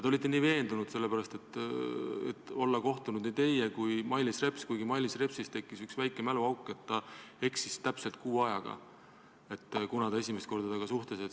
Te olite nii veendunud, sest olevat kohtunud nii teie kui ka Mailis Reps, kuigi Mailis Repsil tekkis üks väike mäluauk, ta eksis täpselt kuu ajaga, kunas ta esimest korda temaga suhtles.